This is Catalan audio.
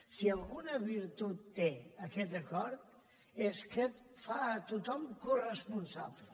si alguna virtut té aquest acord és que en fa a tothom coresponsable